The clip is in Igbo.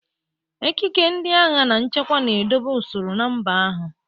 Ekike ndị agha na nchekwa na-edobe usoro na mba ahụ.